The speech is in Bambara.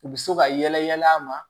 U bɛ se ka yɛlɛ yɛlɛ a ma